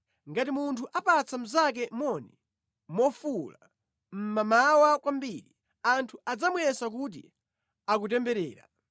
Ngati munthu apatsa mnzake moni mofuwula mmamawa kwambiri, anthu adzamuyesa kuti akutemberera.